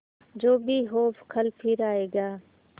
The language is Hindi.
जो भी हो कल फिर आएगा